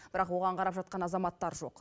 бірақ оған қарап жатқан азаматтар жоқ